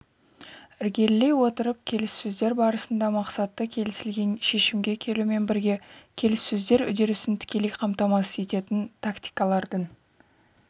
ілгерілей отырып келіссөздер барысында мақсатты келісілген шешімге келумен бірге келіссөздер үдерісін тікелей қамтамасыз ететін тактикалардың